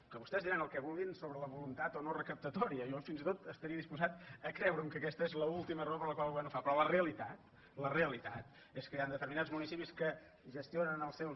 que vostès diran el que vulguin sobre la voluntat o no recaptatòria jo fins i tot estaria disposat a creure’m que aquesta és l’última raó per la qual el govern ho fa però la realitat la realitat és que hi han determinats municipis que gestionen els seus